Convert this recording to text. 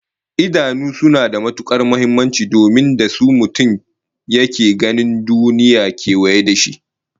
Idanu suna da matukar muhimmanci domin da su mutum yake ganin duniyar kewaye da shi